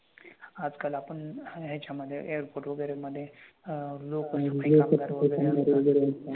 आजकाल आपण ह्याच्यामधे airport वगैरे मधे अह लोकं एवढी affect होत नाहीत